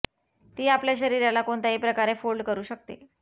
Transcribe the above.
ती आपल्या शरीराला कोणत्याही प्रकारे फोल्ड करू शकते